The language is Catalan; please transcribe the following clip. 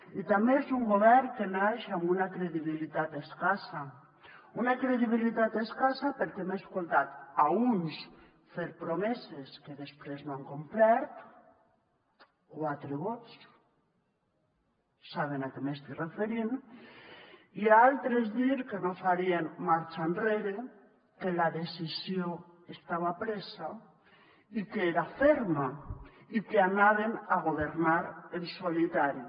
i també és un govern que naix amb una credibilitat escassa una credibilitat escassa perquè hem escoltat a uns fer promeses que després no han complert quatre vots saben a què m’estic referint i a altres dir que no farien marxa enrere que la decisió estava presa i que era ferma i que anaven a governar en solitari